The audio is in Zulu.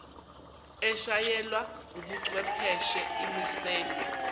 eshayelwa wubuchwepheshe imiselwe